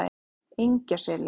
Engjaseli